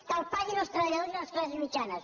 que els paguin els treballadors i les classes mitjanes